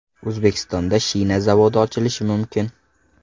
O‘zbekistonda shina zavodi ochilishi mumkin.